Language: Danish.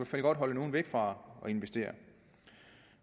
fald godt holde nogen væk fra at investere